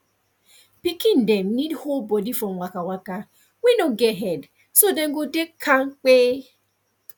pikin dem need hold body from waka waka wey no get head so dem go dey kampe